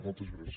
moltes gràcies